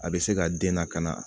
A bɛ se ka den lakana